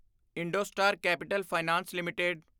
IndoStar capital finance LTD